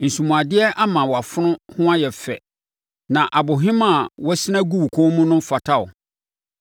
Nsomuadeɛ ama wʼafono ho ayɛ fɛ, na abohemaa a woasina agu wo kɔn mu no fata wo.